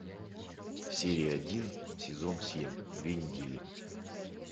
серия один сезон семь две недели